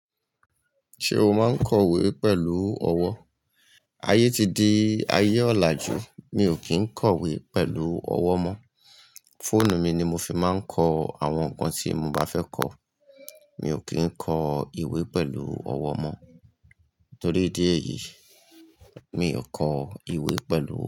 Ṣé o máa ń kọ ìwé pẹ̀lú ọwọ́? Ayé ti di ayé ọ̀làjú. Mi ò kí ń kọ ìwé pẹ̀lú ọwọ́ mọ́. Fóònù mi ni mo fi máa ń kọ àwọn nǹkan tí mo bá fẹ́ kọ. Mi ò kí ń kọ ìwé pẹ̀lú ọwọ́ mọ́. Torí dí èyí, mi ò kọ ìwé pẹ̀lú ọwọ́